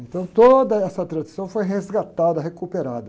Então, toda essa tradição foi resgatada, recuperada.